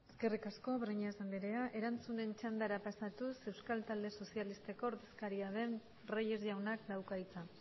eskerrik asko breñas andrea erantzunen txandara pasatuz euskal talde sozialisteko ordezkaria den reyes jaunak dauka hitza